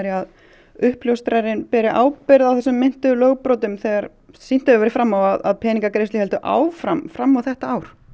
að uppljóstrarinn beri ábyrgð á þessum meintu lögbrotum þegar sýnt hefur verið fram á að peningagreiðslur héldu áfram fram á þetta ár